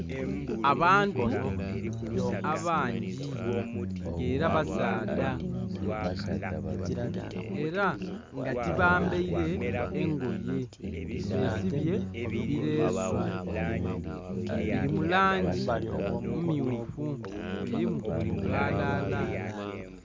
Abantu abangi ng'ela basaadha. Ela nga tibambaile engoye, besibye bileesu, bili mu langi mmyufu, bilimu obwalala.